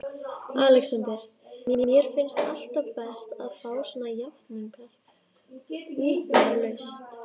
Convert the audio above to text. ALEXANDER: Mér finnst alltaf best að fá svona játningar umbúðalaust.